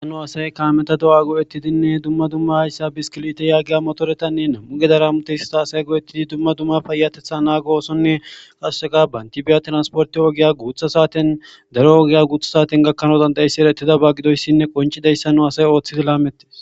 Ha nu asay kaameta do'a go'ettidinne dumma dumma hayssa biskiliteta yaagiya motoretanne hayssa nami'u gedan hamutiya dumma dumma payyateththa naago oos